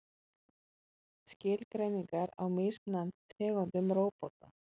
Skilgreiningar á mismunandi tegundum róbóta.